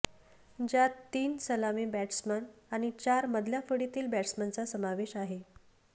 ज्यात तीन सलामी बॅट्समन आणि चार मधल्या फळीतील बॅट्समनचा समावेश आहे